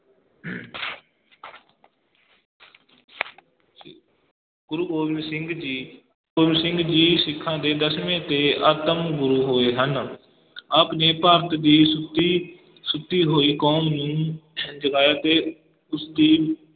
ਗੁਰੂ ਗੋਬਿੰਦ ਸਿੰਘ ਜੀ, ਗੁਰੂ ਗੋਬਿੰਦ ਸਿੰਘ ਜੀ ਸਿੱਖਾਂ ਦੇ ਦਸਵੇਂ ਤੇ ਅੰਤਿਮ ਗੁਰੂ ਹੋਏ ਹਨ ਆਪ ਨੇ ਭਾਰਤ ਦੀ ਸੁੱਤੀ ਸੁੱਤੀ ਹੋਈ ਕੌਮ ਨੂੰ ਜਗਾਇਆ ਤੇ ਉਸਦੀ